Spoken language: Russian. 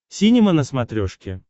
синема на смотрешке